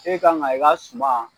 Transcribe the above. E kan ka i ka suma